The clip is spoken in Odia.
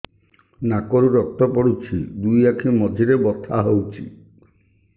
ନାକରୁ ରକ୍ତ ପଡୁଛି ଦୁଇ ଆଖି ମଝିରେ ବଥା ହଉଚି